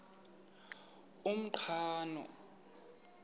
umqhano